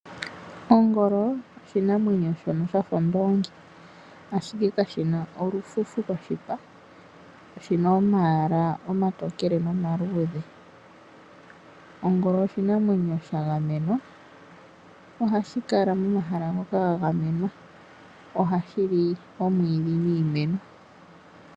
Ongolo oshinamwenyo shono sha fa ondoongi, ashike kashi na olufufu koshipa. Oshi na omayala omatokele nomaluudhe. Ongolo oshinamwenyo sha gamenwa nohashi kala momahala ngoka ga gamenwa. Ohashi li omwiidhi niimeno.